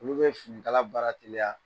Olu bɛ finikala baara reliya.